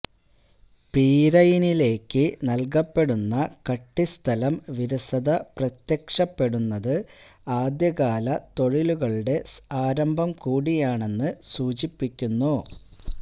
പീരയിനിലേക്ക് നൽകപ്പെടുന്ന കട്ടിസ്ഥലം വിരസത പ്രത്യക്ഷപ്പെടുന്നത് ആദ്യകാല തൊഴിലുകളുടെ ആരംഭം കൂടിയാണെന്ന് സൂചിപ്പിക്കുന്നു